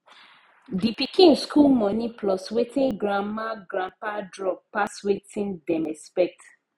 the pikin school money plus wetin grandmagrandpa drop pass wetin dem expect